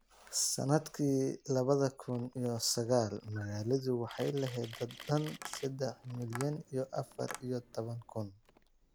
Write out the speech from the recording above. Sannadkii labada kun iyo sagalka, magaaladu waxay lahayd dad dhan sedax milyan iyo afar iyo toban kun